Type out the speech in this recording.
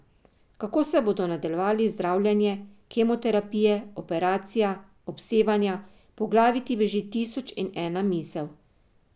Kako se bodo nadaljevali zdravljenje, kemoterapije, operacija, obsevanja, po glavi ti beži tisoč in ena misel.